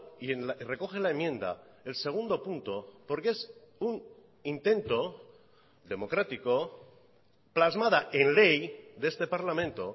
y recoge la enmienda el segundo punto porque es un intento democrático plasmada en ley de este parlamento